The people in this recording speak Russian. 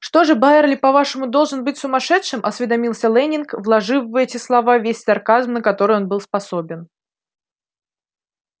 что же байерли по-вашему должен быть сумасшедшим осведомился лэннинг вложив в эти слова весь сарказм на который он был способен